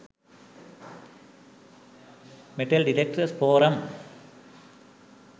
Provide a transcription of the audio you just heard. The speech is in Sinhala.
metal detectors forum